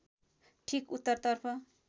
ठिक उत्तरतर्फ